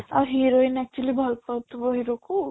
ଆଉ heroine actually ଭଲ ପାଉଥିବ hero କୁ